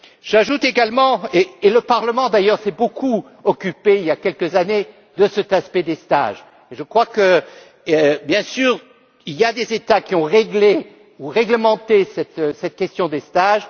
J'ajoute également que le Parlement d'ailleurs s'est beaucoup occupé, il y a quelques années, de cet aspect des stages et je crois bien sûr qu'il y a des États qui ont réglé ou réglementé cette question des stages.